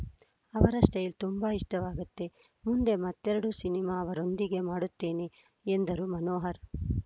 ಅವರ ಸ್ಟೈಲ್‌ ತುಂಬಾ ಇಷ್ಟವಾಗುತ್ತೆ ಮುಂದೆ ಮತ್ತೆರಡು ಸಿನಿಮಾ ಅವರೊಂದಿಗೆ ಮಾಡುತ್ತೇನೆ ಎಂದರು ಮನೋಹರ್‌